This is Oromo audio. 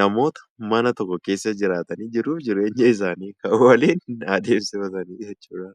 namoota mana tokko keessa jiraatanii jiruu fi jireenya isaanii waliin adeemsifatan jechuudha.